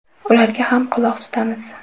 Ularga ham quloq tutamiz.